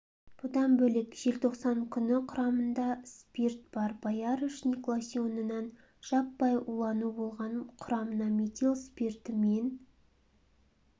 бұдан бөлек желтоқсан күні құрамында спирт бар боярышник лосьонынан жаппай улану болған құрамына метил спирті мен